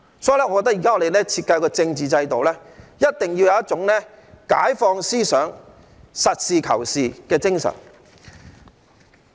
所以，我覺得我們現時設計的政治制度一定要有一種解放思想、實事求是的精神。